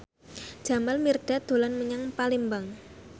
Jamal Mirdad dolan menyang Palembang